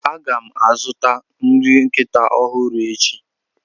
A ga m azụta nri nkịta ọhụrụ echi.